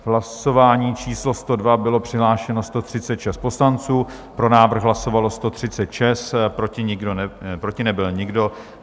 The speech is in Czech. V hlasování číslo 102 bylo přihlášeno 136 poslanců, pro návrh hlasovalo 136, proti nebyl nikdo.